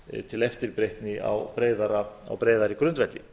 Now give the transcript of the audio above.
til eftirbreytni á breiðari grundvelli